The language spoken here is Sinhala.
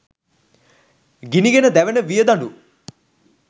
ගිනිගෙන දැවෙන වියදඬු